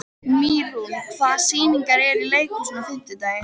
Mýrún, hvaða sýningar eru í leikhúsinu á fimmtudaginn?